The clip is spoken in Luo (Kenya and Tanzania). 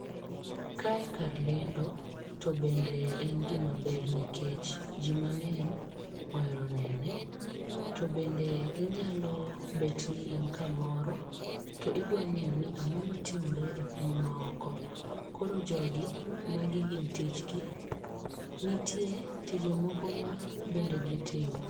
Kae kar lendo to bende en gima ber nikech ji mang'eny ohero nene. To bende inyalo bet ni in kamoro to idwa ng'eyo ni ang'o matimore e piny maoko. Koro jogi magi gin tijgi. Nitie tije moko ma bende gitimo.